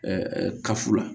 kafo la